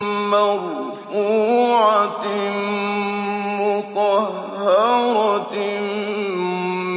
مَّرْفُوعَةٍ مُّطَهَّرَةٍ